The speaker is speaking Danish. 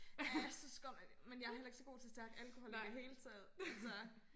Ja jeg synes godt nok det men jeg heller ikke så god til stærk alkohol i det hele taget altså